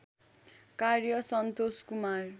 कार्य सन्तोष कुमार